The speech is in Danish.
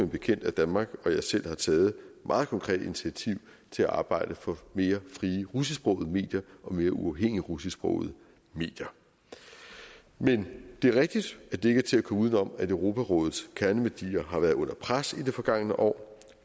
bekendt at danmark og jeg selv har taget et meget konkret initiativ til at arbejde for mere frie russisksprogede medier og mere uafhængige russisksprogede medier men det er rigtigt at det ikke er til at komme uden om at europarådets kerneværdier har været under pres i det forgangne år